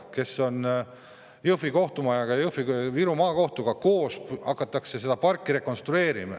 Viru Maakohtu Jõhvi kohtumaja kõrval hakatakse seda parki rekonstrueerima.